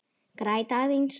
Græt aðeins.